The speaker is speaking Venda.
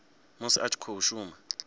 musi a tshi khou shuma